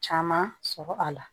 Caman sɔrɔ a la